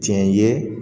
Tiɲɛ ye